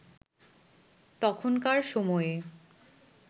তখনকার সময়ে